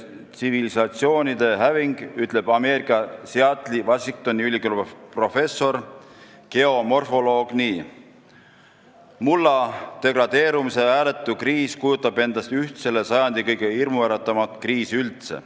Tsivilisatsioonide häving" ütleb Ameerika Seattle'i Washingtoni ülikooli professor geomorfoloog nii: "Mulla degradeerumise hääletu kriis kujutab endast üht selle sajandi kõige hirmuäratavamat kriisi üldse.